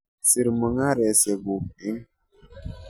Sir mung'arosiekyuk eng'